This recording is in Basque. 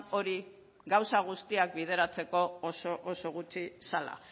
hori gauza guztiak bideratzeko oso oso gutxi zela